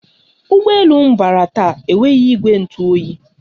Ụgbọ elu m bara taa enweghị ìgwè ntụ oyi